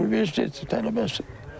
Universitet tələbəsidir.